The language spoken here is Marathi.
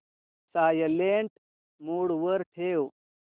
सायलेंट मोड वर ठेव